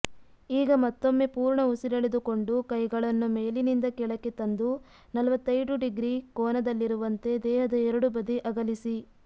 ಈಗ ಮತ್ತೊಮ್ಮೆ ಪೂರ್ಣ ಉಸಿರೆಳೆದುಕೊಂಡು ಕೈಗಳನ್ನು ಮೇಲಿನಿಂದ ಕೆಳಕ್ಕೆ ತಂದು ನಲವತ್ತೈಡು ಡಿಗ್ರಿ ಕೋನದಲ್ಲಿರುವಂತೆ ದೇಹದ ಎರಡೂ ಬದಿ ಅಗಲಿಸಿ